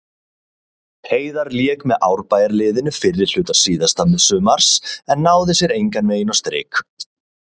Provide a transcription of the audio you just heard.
Heiðar lék með Árbæjarliðinu fyrri hluta síðasta sumars en náði sér engan veginn á strik.